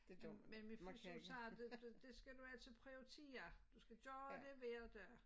Men min fys hun sagde du det det skal du altså prioritere du skal gøre det hver dag